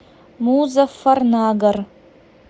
музаффарнагар